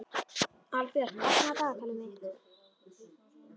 Albjört, opnaðu dagatalið mitt.